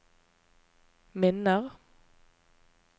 minner